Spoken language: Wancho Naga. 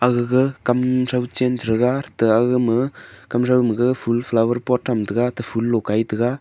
gag kamrho chen thaga ate agma kamtho ma gag full flower pot thamtaga ate full lo kaitaga.